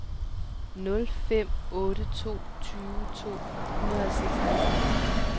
nul fem otte to tyve to hundrede og seksoghalvtreds